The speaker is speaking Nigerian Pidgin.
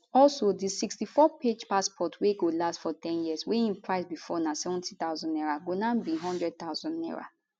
also di 64page passport wey go last for ten years wey im price bifor na 70000 naira go now be 100000 naira